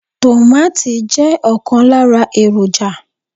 Tomati je okan lara eroja